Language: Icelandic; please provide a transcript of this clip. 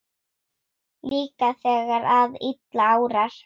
Líka þegar að illa árar?